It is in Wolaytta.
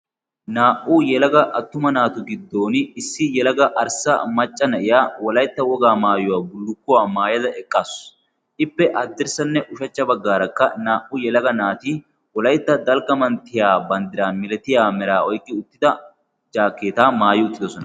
naa77u yelaga attuma naatu giddon issi yalaga arssa macca na7iya wolaitta wogaa maayuwaa bulukkuwaa maayada eqqaasu ippe addirssanne ushachcha baggaarakka naa77u yelaga naati wolaitta dalggamanttiya banddiraa milatiya meraa oiqki uttida jaakeeta maayi uttidosona